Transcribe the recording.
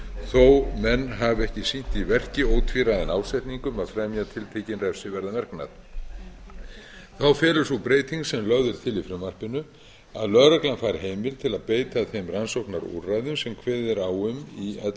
menn hafi ekki sýnt í verki ótvíræðan ásetning um að fremja tiltekinn refsiverðan verknað fær felur sú breyting sem lögð er til í frumvarpinu að lögreglan fær heimild til að beita þeim rannsóknarúrræðum sem kveðið er á um í ellefta